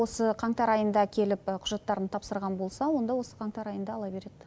осы қаңтар айында келіп құжаттарын тапсырған болса онда осы қаңтар айында ала береді